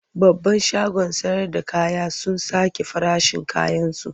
Babban shagon sayarda kaya sun sake farashin kayansu.